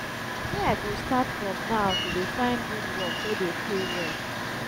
where i go start from now to dey find good work wey dey pay well